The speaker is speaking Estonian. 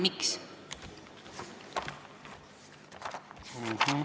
Miks te ei toetanud?